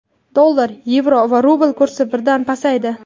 Dollar, yevro va rubl kursi birdan pasaydi.